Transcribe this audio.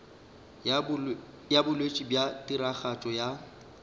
ya botšweletši bja tiragatšo ya